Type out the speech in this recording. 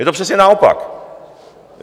Je to přesně naopak.